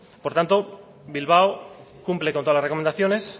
por tanto bilbao cumple con todas las recomendaciones